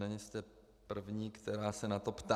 Nejste první, která se na to ptá.